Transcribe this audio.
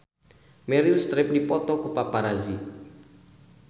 Meryl Streep dipoto ku paparazi